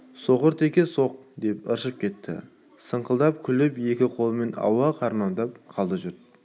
соқыр теке соқ деп ыршып кетті сыңқылдап күліп екі қолымен ауа қармап қалды жұрт